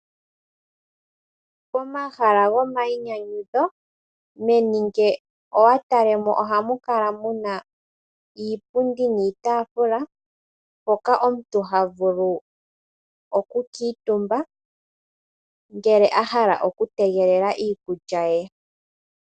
Pomahala gomayinyanyudho meni ngele owa tala mo, ohamu kala muna iipundi niitaafula hoka omuntu ha vulu okukuutumba ngele a hala okutegelela iikulya ye.